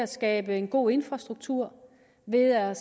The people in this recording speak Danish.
skaber en god infrastruktur ved at